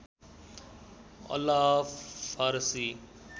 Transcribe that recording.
अल्लाह फारसी